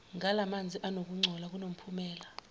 ngalamazni anokungcola kunomphumela